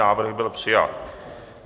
Návrh byl přijat.